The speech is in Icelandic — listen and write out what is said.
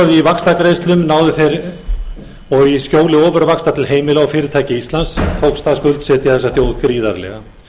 með yfirboði í vaxtagreiðslum og í skjóli ofurvaxta til heimila og fyrirtækja íslands tókst að skuldsetja þessa þjóð gríðarlega